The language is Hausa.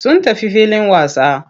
Sun tafi filin wasa.